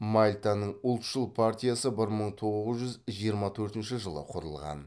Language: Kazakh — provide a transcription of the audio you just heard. мальтаның ұлтшыл партиясы бір мың тоғыз жүз жиырма төртінші жылы құрылған